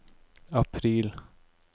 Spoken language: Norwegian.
april